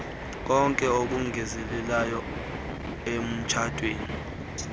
konke okongezeleke emtshatweni